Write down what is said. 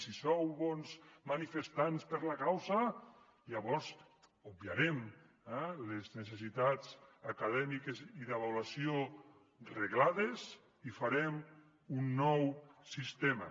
si sou bons manifestants per la causa llavors obviarem eh les necessitats acadèmiques i d’avaluació reglades i farem un nou sistema